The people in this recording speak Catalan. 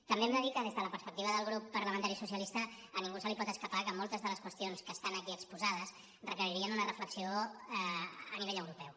també hem de dir que des de la perspectiva del grup parlamentari socialista a ningú se li pot escapar que moltes de les qüestions que estan aquí exposades re·queririen una reflexió a nivell europeu